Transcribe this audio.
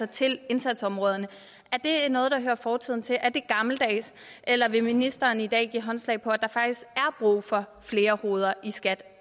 til indsatsområderne noget der hører fortiden til er det gammeldags eller vil ministeren i dag give håndslag på at der faktisk er brug for flere hoveder i skat